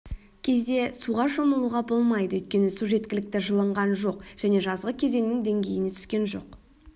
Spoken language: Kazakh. кезде суға шомылуға болмайды өйткені су жеткілікті жылынған жоқ және жазғы кезеңнің деңгейіне түскен жоқ